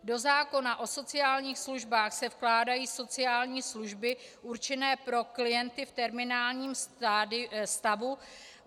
Do zákona o sociálních službách se vkládají sociální služby určené pro klienty v terminálním stavu.